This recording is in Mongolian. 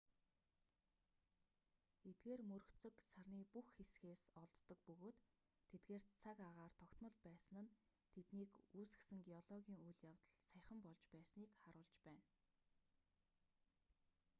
эдгээр мөргөцөг сарны бүх хэсгээс олддог бөгөөд тэдгээрт цаг агаар тогтмол байсан нь тэднийг үүсгэсэн геологийн үйл явдал саяхан болж байсныг харуулж байна